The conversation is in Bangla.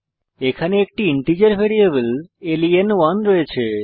আমাদের কাছে একটি ইন্টিজার ভ্যারিয়েবল লেন1 রয়েছে